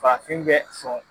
Farafin bɛ sɔn